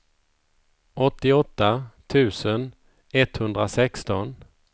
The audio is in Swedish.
åttioåtta tusen etthundrasexton